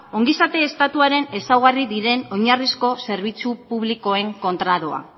ongizate estatuaren ezaugarri diren oinarrizko zerbitzu publikoek kontra doa